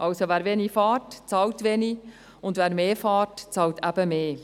Also: Wer wenig fährt, bezahlt wenig, und wer mehr fährt, bezahlt eben mehr.